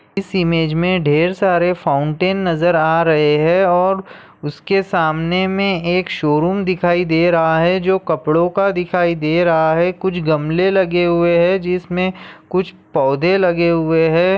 इस इमेज में ढेर सारे फाउंटेन नजर आ रहे हैं और उसके सामने में एक शोरूम दिखाई दे रहा है जो कपड़ों का दिखाई दे रहा है कुछ गमले लगे हुए हैं जिसमें कुछ पौधे लगे हुए हैं।